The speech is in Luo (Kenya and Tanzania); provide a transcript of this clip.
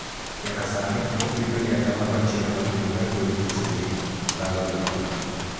Nyaka sani opime ni 1% mar ji mayudo midhusi ni lalo ngima gi.